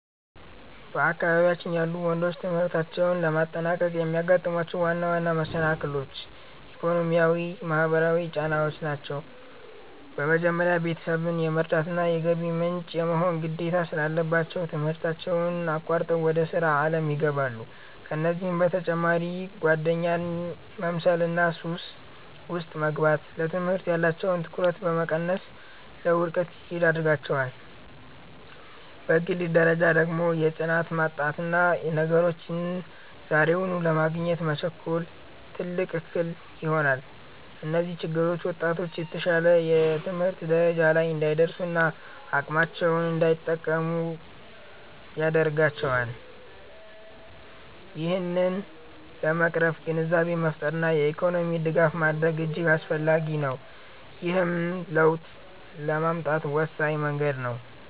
በአካባቢያችን ያሉ ወንዶች ትምህርታቸውን ለማጠናቀቅ የሚያጋጥሟቸው ዋና ዋና መሰናክሎች፣ ኢኮኖሚያዊና ማህበራዊ ጫናዎች ናቸው። በመጀመሪያ፣ ቤተሰብን የመርዳትና የገቢ ምንጭ የመሆን ግዴታ ስላለባቸው፣ ትምህርታቸውን አቋርጠው ወደ ሥራ ዓለም ይገባሉ። ከዚህም በተጨማሪ ጓደኛን መምሰልና ሱስ ውስጥ መግባት፣ ለትምህርት ያላቸውን ትኩረት በመቀነስ ለውድቀት ይዳርጋቸዋል። በግል ደረጃ ደግሞ የጽናት ማጣትና ነገሮችን ዛሬውኑ ለማግኘት መቸኮል፣ ትልቅ እክል ይሆናል። እነዚህ ችግሮች ወጣቶች የተሻለ የትምህርት ደረጃ ላይ እንዳይደርሱና አቅማቸውን እንዳይጠቀሙ ያደርጋቸዋል። ይህንን ለመቅረፍ ግንዛቤን መፍጠርና የኢኮኖሚ ድጋፍ ማድረግ እጅግ አስፈላጊ ነው፤ ይህም ለውጥ ለማምጣት ወሳኝ መንገድ ነው።